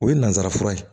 O ye nansara fura ye